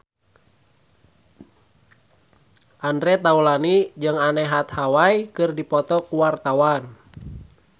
Andre Taulany jeung Anne Hathaway keur dipoto ku wartawan